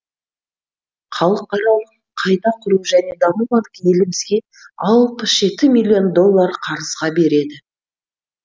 халықаралық қайта құру және даму банкі елімізге алпыс жеті миллион доллар қарызға береді